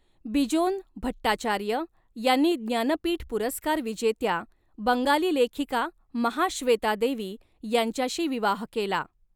बिजोन भट्टाचार्य यांनी ज्ञानपीठ पुरस्कार विजेत्या बंगाली लेखिका महाश्वेता देवी यांच्याशी विवाह केला.